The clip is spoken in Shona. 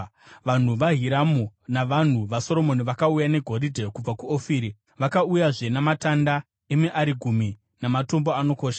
(Vanhu vaHiramu navanhu vaSoromoni vakauya negoridhe kubva kuOfiri; vakauyazve namatanda emiarigumi namatombo anokosha.